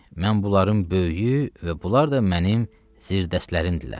Mən bunların böyüyü və bunlar da mənim zirdəstlərimdilər.